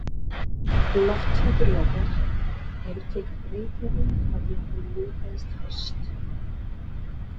Lofthjúpur jarðar hefur tekið breytingum frá því að hann myndaðist fyrst.